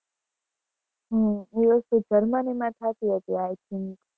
હમ એ વસ્તુ જર્મની માં થતું હશે i think.